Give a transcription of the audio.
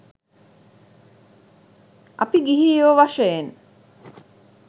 අපි ගිහියො වශයෙන්